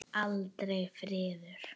Aldrei friður.